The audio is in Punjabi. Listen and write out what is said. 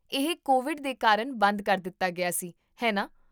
ਇਹ ਕੋਵਿਡ ਦੇ ਕਾਰਨ ਬੰਦ ਕਰ ਦਿੱਤਾ ਗਿਆ ਸੀ, ਹੈ ਨਾ?